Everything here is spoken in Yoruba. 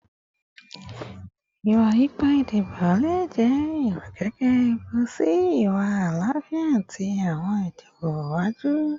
Iwa-ipa idibo le jẹ irokeke ewu si iwa alaafia ti awọn idibo iwaju